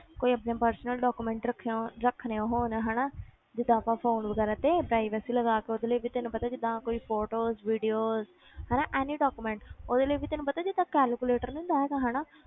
ਕੋਈ ਆਪਣੇ personal document ਰੱਖੇ ਹੋਣ ਰੱਖਣੇ ਹੋਣ ਹਨਾ ਜਿੱਦਾਂ ਆਪਾਂ phone ਵਗ਼ੈਰਾ ਤੇ privacy ਲਗਾ ਕੇ ਉਹਦੇ ਲਈ ਵੀ ਤੈਨੂੰ ਪਤਾ ਜਿੱਦਾਂ ਕੋਈ photos videos ਹਨਾ any document ਉਹਦੇ ਲਈ ਵੀ ਤੈਨੂੰ ਪਤਾ ਜਿੱਦਾਂ calculator ਨੀ ਹੁੰਦਾ ਹੈਗਾ ਹਨਾ